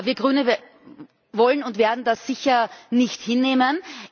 Wir Grüne wollen und werden das sicher nicht hinnehmen.